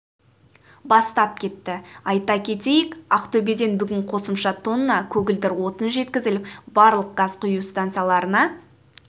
бастап кетті айта кетейік ақтөбеден бүгін қосымша тонна көгілдір отын жеткізіліп барлық газ құю станцияларына